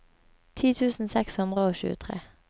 ti tusen seks hundre og tjuetre